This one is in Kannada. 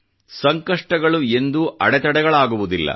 ಸಂಕಷ್ಟಗಳು ಎಂದೂ ಅಡೆತಡೆಗಳಾಗುವುದಿಲ್ಲ